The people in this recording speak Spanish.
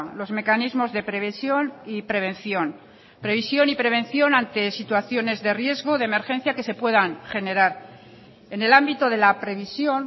los mecanismos de previsión y prevención previsión y prevención ante situaciones de riesgo de emergencia que se puedan generar en el ámbito de la previsión